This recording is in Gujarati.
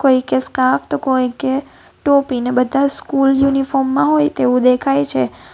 કોઈકે સ્કાર્ફ તો કોઈકે ટોપી ને બધા સ્કૂલ યુનિફોર્મ માં હોય તેવું દેખાય છે.